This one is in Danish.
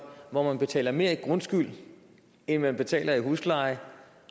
hvor man betaler mere i grundskyld end man betaler i husleje